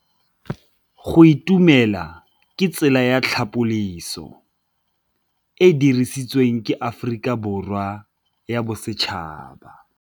Go itumela ke tsela ya tlhapolisô e e dirisitsweng ke Aforika Borwa ya Bosetšhaba.